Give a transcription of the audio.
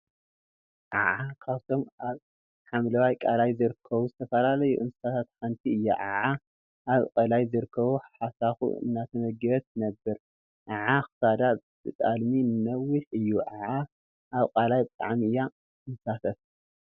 ዓዓ ካብቶም አብ ሓምላዋይ ቃላይ ዝርከቡ ዝተፈላለዩ እንስሳት ሓንቲ እያ፡፡ ዓዓ አብ ቃላይ ዝርከቡ ሓሳኩ እናተመገበት ትነብር፡፡ ዓዓ ክሳዳ ብጣልሚ ነዊሕ እዩ፡፡ ዓዓ አብ ቃላይ ብጣዕሚ እያ ትንሳፈፍ፡፡